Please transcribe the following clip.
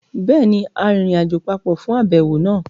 Béèni, a rìnrìnàjò papọ̀ fún àbẹ̀wò náà